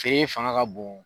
Tile fanga ka bon.